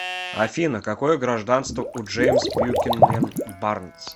афина какое гражданство у джеймс бьюкенен барнс